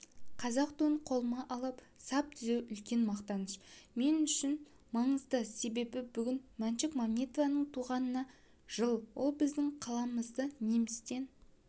қазақ туын қолыма алып сап түзеу үлкен мақтаныш мен үшін маңызды себебі бүгін мәншүк мәметованың туғанына жыл ол біздің қаламызды немістен